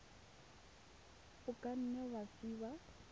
o ka nne wa fiwa